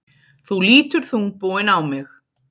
Þú lítur þungbúinn á mig.